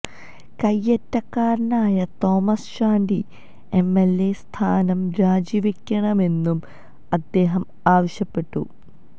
കയ്യേറ്റക്കാരനായ Thomas Chandy MLA സ്ഥാനം രാജി വെക്കണമെന്നും അദ്ദേഹം ആവശ്യപ്പെട്ടു